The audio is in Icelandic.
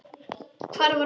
Hvar var hann fæddur?